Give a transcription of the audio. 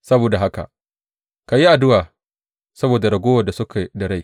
Saboda haka ka yi addu’a saboda raguwar da suke da rai.